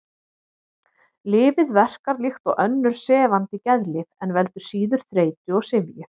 Lyfið verkar líkt og önnur sefandi geðlyf en veldur síður þreytu og syfju.